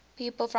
people from hims